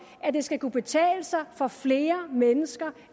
at det skal kunne betale sig for flere mennesker